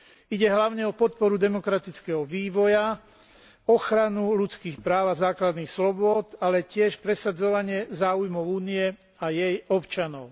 Ide hlavne o podporu demokratického vývoja, ochranu ľudských práv a základných slobôd, ale tiež presadzovanie záujmov Únie a jej občanov.